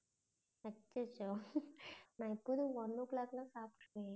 அச்சச்சோ , நான் எப்போதும் one o clock லாம் சாப்பிட்டு விடுவேன்.